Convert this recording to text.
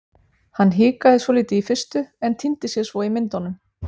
Hann hikaði svolítið í fyrstu en týndi sér svo í myndunum.